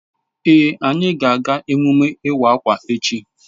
Èé, anyị ga-aga emume iwa akwa echi.